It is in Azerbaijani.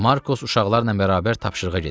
Markos uşaqlarla bərabər tapşırığa gedir.